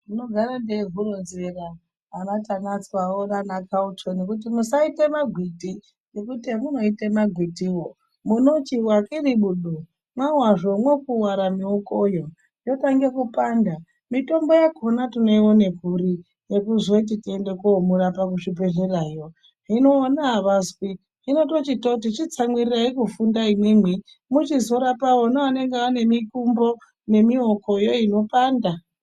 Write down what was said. Ndinogara ndeiuhuronzera hwana Tanatswa hoo nana Carlton kuti musaite magwiti hemunoite magwitiwo munochiwa kiribudu mawazve mokuware miwokoyo yotange kupanda mitombo yakona tinoione kuri yekuzoti tiende komurapa kuzvibhedhlerayo hino vona avazwi , hino totichoti chitsamwirirai kufunda imwimwi muchizorapa vona vanenge vane mikumbo nemiwokoyo inopanda.